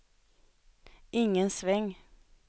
ingen sväng